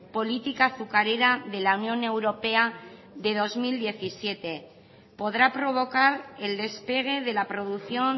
política azucarera de la unión europea de dos mil diecisiete podrá provocar el despegue de la producción